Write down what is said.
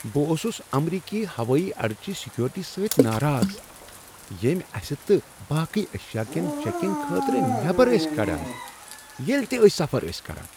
بہٕ اوسس امریکی ہوٲیی اڈچہ سیکورٹی سۭتۍ ناراض یم اسِہ تہٕ باقٕی ایشیاکین چیکنگ خٲطرٕ نیبر ٲسۍ کڑان ییٚلہ تِہ أسۍ سفر ٲسۍ کران۔